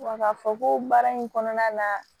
Wa ka fɔ ko baara in kɔnɔna la